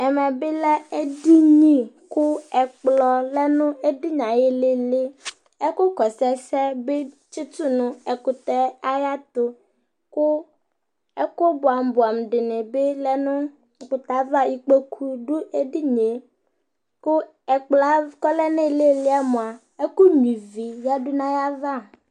ɛmɛ bi lɛ edini kò ɛkplɔ lɛ no edinie ayi ilili ɛkò kɔsu ɛsɛ bi tsito no ɛkutɛ ayɛto kò ɛkò boɛ amo boɛ amo di ni bi lɛ no ɛkutɛ ava ikpoku do edinie kò ɛkplɔɛ k'ɔlɛ n'ililiɛ moa ɛkò nyua ivi yadu no ayava